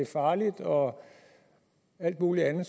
farligt og alt muligt andet